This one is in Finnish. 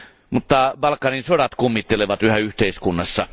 Mutta Balkanin sodat kummittelevat yhä yhteiskunnassa.